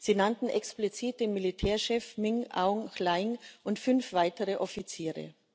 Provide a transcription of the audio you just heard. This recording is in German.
Sie nannten explizit den Militärchef Min Aung Hlaing und fünf weitere Offiziere.